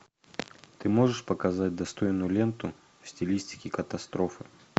ты можешь показать достойную ленту в стилистике катастрофы